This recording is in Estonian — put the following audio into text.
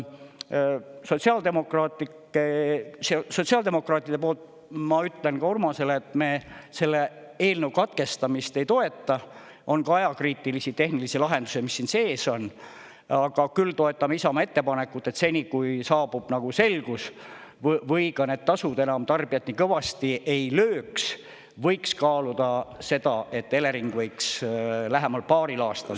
Sotsiaaldemokraatide poolt ma ütlen ka Urmasele, et me selle eelnõu katkestamist ei toeta – on ka ajakriitilisi tehnilisi lahendusi, mis siin sees on –, aga küll toetame Isamaa ettepanekut, et seni, kui saabub nagu selgus, või ka need tasud enam tarbijat nii kõvasti ei lööks, võiks kaaluda seda, et Elering võiks lähemal paaril aastal …